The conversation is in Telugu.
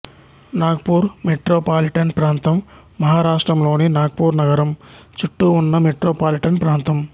నాగపూర్ మెట్రోపాలిటన్ ప్రాంతం మహారాష్ట్రలోని నాగపూర్ నగరం చుట్టూ ఉన్న మెట్రోపాలిటన్ ప్రాంతం